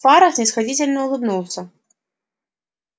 фара снисходительно улыбнулся